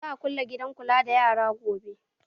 Za a kulle gidan kula da yaran gobe